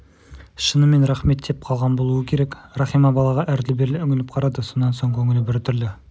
шынымен рахмет деп қалған болуы керек рахима балаға әрлі-берлі үңіліп қарады сонан соң көңілі біртүрлі